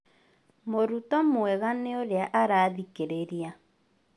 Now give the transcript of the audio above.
Mũruto mwega nĩ ũrĩa arathikĩrĩria